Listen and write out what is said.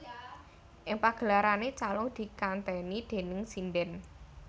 Ing pagelarane calung dikanteni déning sindhen